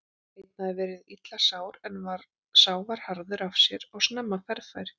Einn hafði verið illa sár en sá var harður af sér og snemma ferðafær.